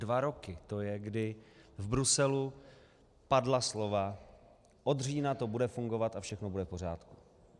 Dva roky to je, kdy v Bruselu padla slova: od října to bude fungovat a všechno bude v pořádku.